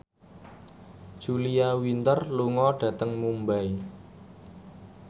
Julia Winter lunga dhateng Mumbai